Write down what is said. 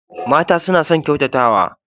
Mata suna son ƙyautatawa.